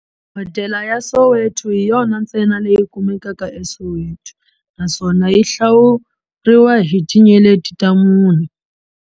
Hodela ya Soweto hi yona ntsena leyi kumekaka eSoweto, naswona yi hlawuriwa hi tinyeleti ta mune.